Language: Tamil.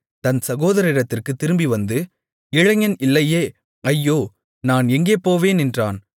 தன் சகோதரரிடத்திற்குத் திரும்பி வந்து இளைஞன் இல்லையே ஐயோ நான் எங்கே போவேன் என்றான்